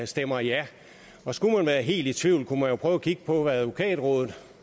stemmer ja og skulle man være helt i tvivl kunne man jo prøve at kigge på hvad advokatrådet